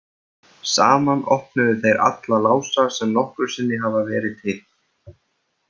Saman opnuðu þeir alla lása sem nokkru sinni hafa verið til.